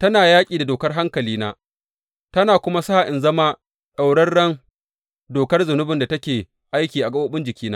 tana yaƙi da dokar hankalina, tana kuma sa in zama ɗaurarren dokar zunubin da take aiki a gaɓoɓin jikina.